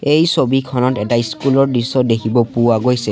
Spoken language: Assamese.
এই ছবিখনত এটা স্কুলৰ দৃশ্য দেখিব পোৱা গৈছে।